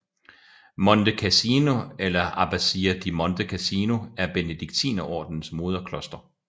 Monte Cassino eller Abbazia di Monte Cassino er Benediktinerordenens moderkloster